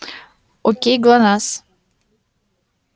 окей глонассс